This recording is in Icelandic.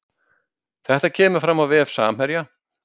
Þetta kemur fram á vef Samherja